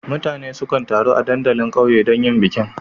Mutane sukan taru a dandalin ƙauye don yin bikin.